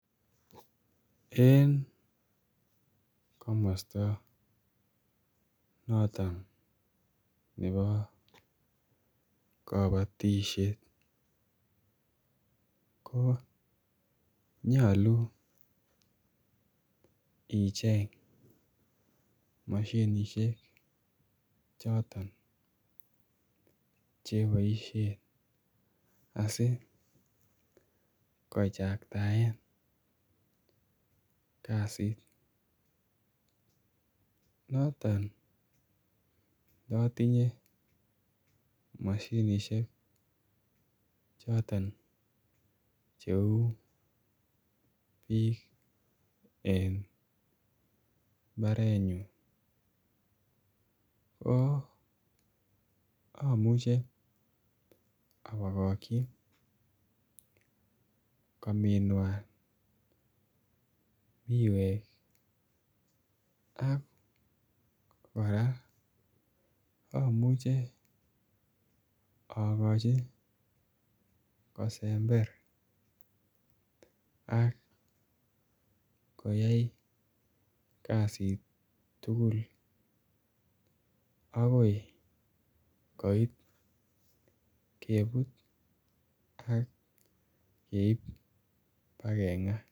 En komosto noton nebo kobotishet ko nyoluu icheng moshinishek choton che boishen asi kochangtaen kasit. Noton notinye moshinishek choton che uu biik en mbarenyun ko amuche oo bomokyi kominwan miwek ak Korea omuche ogochi kosember ak koyay kazit tugul again koit kebut ak keib bakengaa